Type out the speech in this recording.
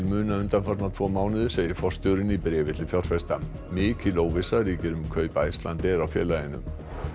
muna undanfarna tvo mánuði segir forstjórinn í bréfi til fjárfesta mikil óvissa ríkir um kaup Icelandair á félaginu